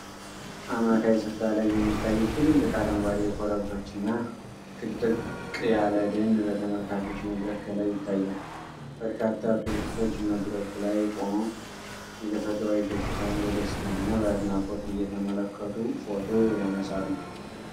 አማካይ ሥፍራ ላይ የሚታዩት ትልልቅ አረንጓዴ ኮረብቶችና ጥቅጥቅ ያለ ደን በተመልካቾች መድረክ ከላይ ይታያል። በርካታ ቱሪስቶች መድረኩ ላይ ቆመው የተፈጥሮአዊ ገጽታውን በደስታና በአድናቆት እየተመለከቱ ፎቶ ያነሳሉ።